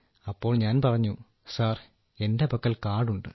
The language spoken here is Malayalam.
അപ്പോൾ ഞാൻ പറഞ്ഞു സർ എന്റെ പക്കൽ കാർഡുണ്ട്